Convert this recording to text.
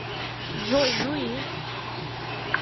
джой ну и